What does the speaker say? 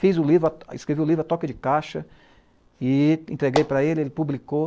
Fiz o livro, escrevi o livro a toque de caixa e entreguei para ele, ele publicou.